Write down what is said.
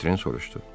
Votren soruşdu.